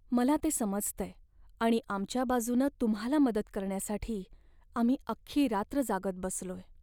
मला ते समजतंय आणि आमच्या बाजूनं तुम्हाला मदत करण्यासाठी आम्ही अख्खी रात्र जागत बसलोय.